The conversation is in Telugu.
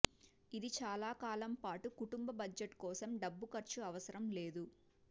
ఇది చాలా కాలం పాటు కుటుంబ బడ్జెట్ కోసం డబ్బు ఖర్చు అవసరం లేదు